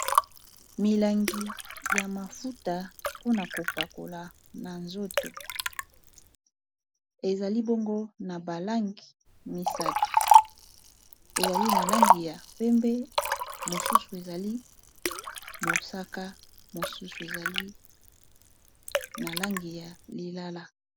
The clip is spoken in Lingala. milangi ya mafuta mpona kopakola na nzoto ezali bongo na balange misato ezali na langi ya pembe mosusu ezali mosaka mosusu ezali na langi ya lilala